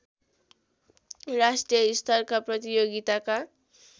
राष्ट्रिय स्तरका प्रतियोगिताका